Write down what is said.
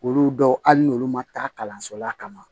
Olu dɔw hali n'olu ma taa kalanso la ka na